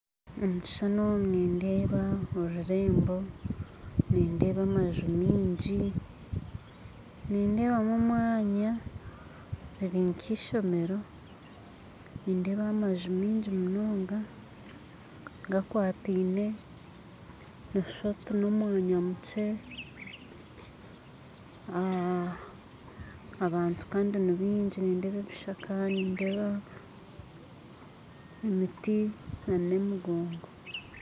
Omu kishushani omu nindeeba orurembo nindeeba amaju maingi nindeebamu omwanya riri nk'eishomero nindeeba amaju maingi munonga gakwataine nooshusha oti n'omwanya mukye abantu kandi nibaingi nindeeba ebishaka nindeeba emiti n'emigongo